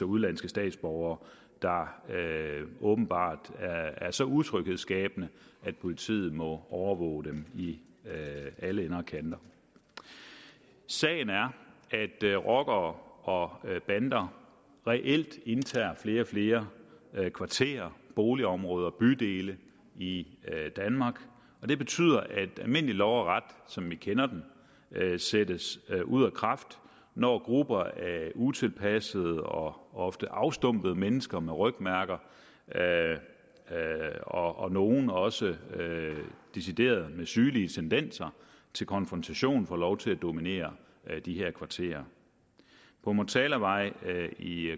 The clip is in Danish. udenlandske statsborgere der åbenbart er så utryghedsskabende at politiet må overvåge dem i alle ender og kanter sagen er at rockere og bander reelt indtager flere og flere kvarterer boligområder bydele i danmark og det betyder at almindelig lov og ret som vi kender det sættes ud af kraft når grupper af utilpassede og ofte afstumpede mennesker med rygmærker og nogle også med decideret sygelig tendenser til konfrontation får lov til at dominere de her kvarterer på motalavej i